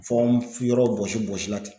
Fɔ n yɔrɔ bɔsi bɔsi la ten.